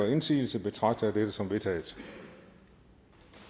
indsigelse betragter jeg dette som vedtaget